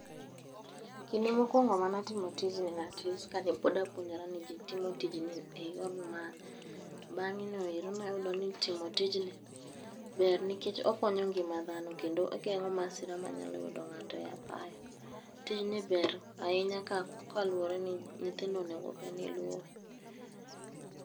Kinde mokwongo manatimo tijni natis kane pod apuonjora ni ji timo tijni e yor. To bang'e no ero nayudo ni timo tijni ber nikech okonyo ngima dhano kendo ogeng'o masira manyalo yudo ng'ato e apaya. Tijni ber ahinya koluwore ni nyithindo onego bed ni luwe.